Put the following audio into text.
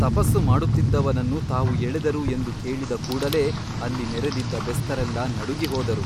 ತಪಸ್ಸು ಮಾಡುತ್ತಿದ್ದವನನ್ನು ತಾವು ಎಳೆದರು ಎಂದು ಕೇಳಿದ ಕೂಡಲೇ ಅಲ್ಲಿ ನೆರೆದಿದ್ದ ಬೆಸ್ತರೆಲ್ಲಾ ನಡುಗಿ ಹೋದರು.